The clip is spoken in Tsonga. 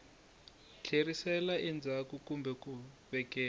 tlherisela endzhaku kumbe ku vekela